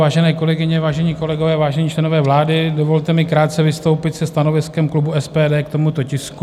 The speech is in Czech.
Vážené kolegyně, vážení kolegové, vážení členové vlády, dovolte mi krátce vystoupit se stanoviskem klubu SPD k tomuto tisku.